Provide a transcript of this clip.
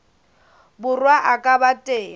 borwa a ka ba teng